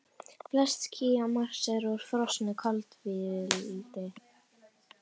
Flest ský á Mars eru úr frosnu koltvíildi.